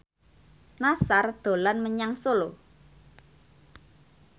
Nassar dolan menyang Solo